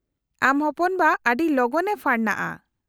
-ᱟᱢ ᱦᱚᱯᱚᱱᱵᱟ ᱟᱹᱰᱤ ᱞᱚᱜᱚᱱᱮ ᱯᱷᱟᱨᱱᱟᱜᱼᱟ ᱾